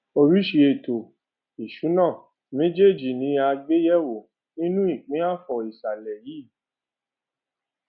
oríṣi ètò ìsúná méjèèjì yìí ní a gbé yẹ wò nínu ìpín afọ ìsàlẹ yìí